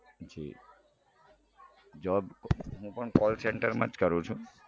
જી job હું પણ call center માં જ કરું છું